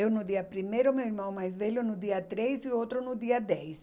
Eu no dia primeiro, meu irmão mais velho no dia três e o outro no dia dez.